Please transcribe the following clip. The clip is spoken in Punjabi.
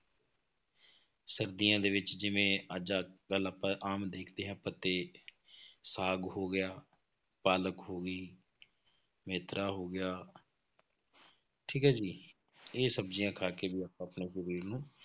ਸਰਦੀਆਂ ਦੇ ਵਿੱਚ ਜਿਵੇਂ ਅੱਜ ਕੱਲ੍ਹ ਆਪਾਂ ਆਮ ਦੇਖਦੇ ਹਾਂ ਪੱਤੇ ਸਾਗ ਹੋ ਗਿਆ, ਪਾਲਕ ਹੋ ਗਈ ਮੇਥਰਾ ਹੋ ਗਿਆ ਠੀਕ ਹੈ ਜੀ ਇਹ ਸਬਜ਼ੀਆਂ ਖਾ ਕੇ ਜੇ ਆਪਾਂ ਆਪਣੇ ਸਰੀਰ ਨੂੰ